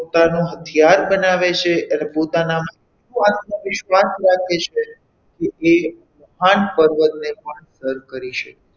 પોતાનું હથિયાર બનાવે છે એટલે પોતાના આત્મવિશ્વાસ રાખે છે કે એ મહાન પર્વતને પણ સર કરી શકે છે.